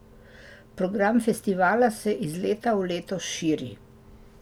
Program festivala se iz leta v leto širi.